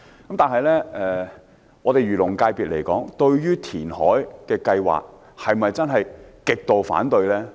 不過，漁農界別對填海計劃是否真的極度反對呢？